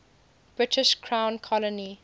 british crown colony